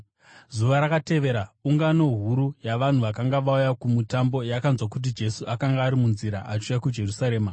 Zuva rakatevera ungano huru yavanhu vakanga vauya kuMutambo yakanzwa kuti Jesu akanga ari munzira achiuya kuJerusarema.